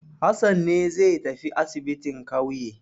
Hassan ne zai tafi asibin ƙauye.